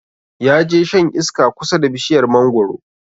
Ya je shan iska kusa da bishiyar mangoro